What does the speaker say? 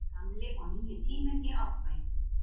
Gamli og nýi tíminn í Árbæ